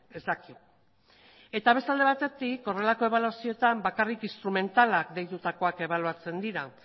ez dakit eta beste alde batetik horrelako ebaluazioetan bakarrik instrumentalak deitutakoak ebaluatzen dira